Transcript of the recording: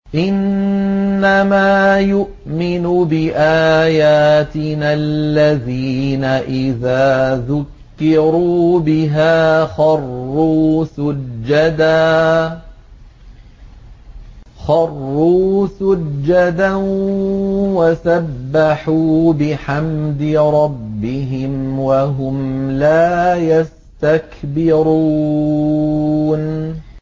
إِنَّمَا يُؤْمِنُ بِآيَاتِنَا الَّذِينَ إِذَا ذُكِّرُوا بِهَا خَرُّوا سُجَّدًا وَسَبَّحُوا بِحَمْدِ رَبِّهِمْ وَهُمْ لَا يَسْتَكْبِرُونَ ۩